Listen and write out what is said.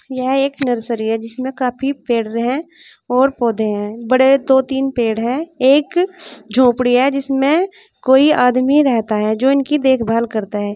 यह एक नर्सरी है जिसमें काफी पेड़ हैं और पौधे हैं बड़े दो तीन पेड़ हैं एक झोपड़ी है जिसमें कोई आदमी रहता है जो इनकी देखभाल करता है।